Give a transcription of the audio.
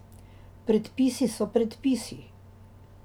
Predpisi so predpisi.